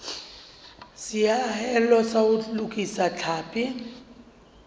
seahelo sa ho lokisa tlhapi